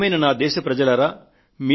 ప్రియమైన నా దేశ ప్రజలారా